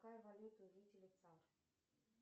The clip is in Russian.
какая валюта у жителей цар